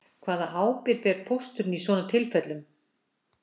Hvaða ábyrgð ber pósturinn í svona tilfellum